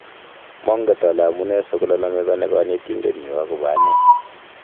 "Manget ale amune sikolalamikani Kanetindet nyu agobo ane